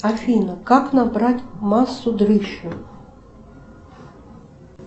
афина как набрать массу дрыщу